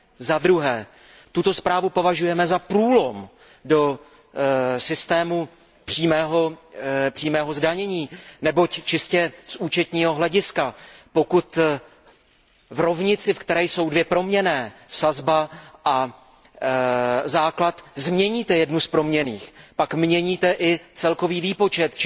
Za druhé, tuto zprávu považujeme za průlom do systému přímého zdanění, neboť čistě z účetního hlediska, pokud v rovnici, ve které jsou dvě proměnné sazba a základ změníte jednu z proměnných, pak měníte i celkový výpočet.